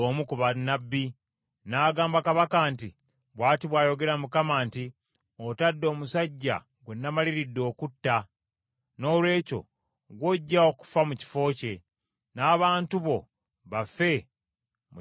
N’agamba kabaka nti, “Bw’ati bw’ayogera Mukama nti, ‘Otadde omusajja gwe namaliridde okutta. Noolwekyo ggw’ojja okufa mu kifo kye, n’abantu bo bafe mu kifo ky’abantu be.’ ”